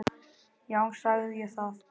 Já, sagði ég það?